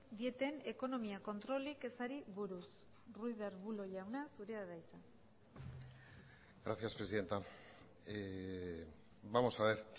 dieten ekonomia kontrolik ezari buruz ruiz de arbulo jauna zurea da hitza gracias presidenta vamos a ver